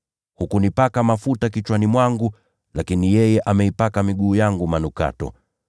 Hukunipaka mafuta kichwani mwangu, lakini yeye ameipaka miguu yangu manukato.